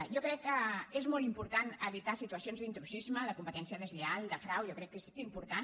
jo crec que és molt important evitar situacions d’intrusisme de competència deslleial de frau jo crec que és important